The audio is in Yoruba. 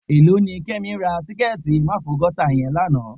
Èló ni Kẹ́mi ra síkẹ́ẹ̀tí máfogọ́tà yẹn lánàá?